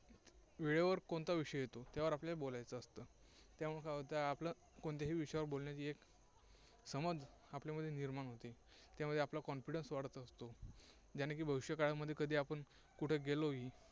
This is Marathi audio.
वेळेवर कोणता विषय येतो त्यावर आपल्याला बोलायचं असतं. त्यामुळे काय होतं आपलं कोणत्याही विषयावर बोलण्याची एक समज आपल्यामध्ये निर्माण होते. त्यामुळे आपला confidence वाढत असतो. ज्याने की भविष्य काळामध्ये कधी आपण कुठे गेलोही